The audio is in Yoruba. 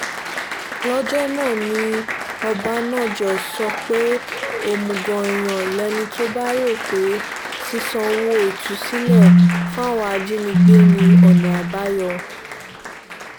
lọ́jọ́ náà ni ọ̀bánájọ́ sọ pé òmùgọ̀ èèyàn lẹni tó bá rò pé ṣíṣàǹwò ìtúsílẹ̀ fáwọn ajínigbé ní ọ̀nà àbáyọ